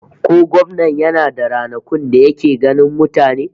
Ko gwamnan yana da ranakun da yake ganin mutane?